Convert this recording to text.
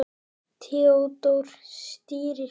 Theódór stýrir ferð.